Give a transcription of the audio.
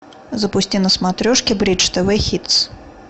запусти на смотрешке бридж тв хитс